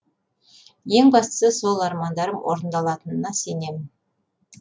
ең бастысы сол армандарым орындалатынына сенемін